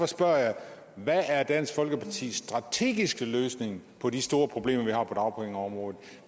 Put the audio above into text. spørger jeg hvad er dansk folkepartis strategiske løsning på de store problemer